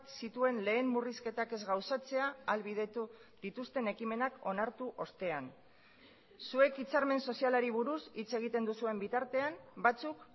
zituen lehen murrizketak ez gauzatzea ahalbidetu dituzten ekimenak onartu ostean zuek hitzarmen sozialari buruz hitz egiten duzuen bitartean batzuk